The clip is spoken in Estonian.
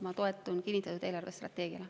Ma toetun kinnitatud eelarvestrateegiale.